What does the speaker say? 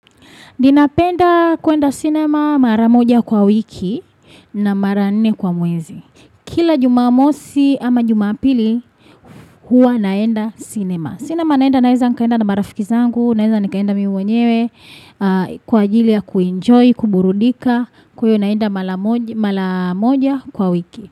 Ninapenda kuenda cinema mara moja kwa wiki na mara nne kwa mwezi. Kila jumamosi ama jumapili huwa naenda cinema. Cinema naenda naeza nikaenda na marafiki zangu, naeza nikaenda mi mwenyewe, kwa ajili ya kuenjoy, kuburudika, kuyo naenda mara moja mara moja kwa wiki.